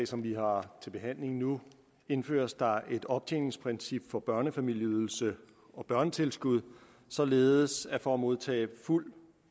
som vi har til behandling nu indføres der et optjeningsprincip for børnefamilieydelse og børnetilskud således at man for at modtage fuld